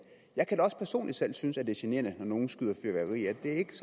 jeg kan også personligt synes at det er generende når nogen skyder fyrværkeri af det er ikke